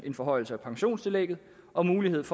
en forhøjelse af pensionstillægget og mulighed for